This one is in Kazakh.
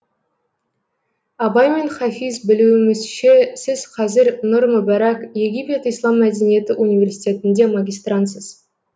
абай мен хафиз білуімізше сіз қазір нұр мүбәрәк египет ислам мәдениеті университетінде магистрантсыз